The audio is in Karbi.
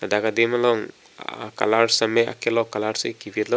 dak adim along a colour sitame akelok colour si kivit lo.